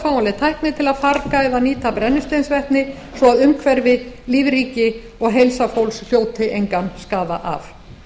fáanleg tækni til að farga eða nýta brennisteinsvetni svo að umhverfi lífríki og heilsa fólks hljóti engan skaða af